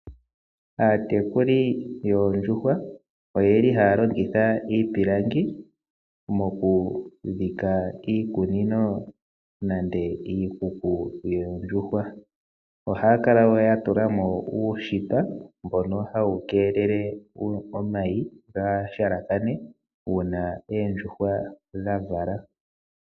Aatekuli yoondjuhwa oye li haya longitha iipilangi mokudhika iikunino nenge iikuku yoondjuhwa. Ohayaa kala wo ya tula mo uushipa mbono ha wu keelele omayi opo kaa ga halakane uuna oondjuhwa dha vala.